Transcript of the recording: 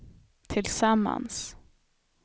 tillsammans